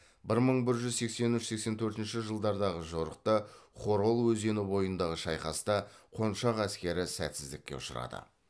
бір мың бір жүз сексен үш сексен төртінші жылдардағы жорықта хорол өзені бойындағы шайқаста қоншақ әскері сәтсіздікке ұшырады